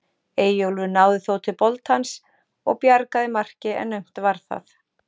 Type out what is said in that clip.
Eyjólfur náði þó til boltans og bjargaði marki en naumt var það.